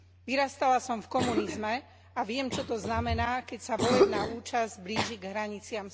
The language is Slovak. Vyrastala som v komunizme a viem, čo to znamená, keď sa volebná účasť blíži k hraniciam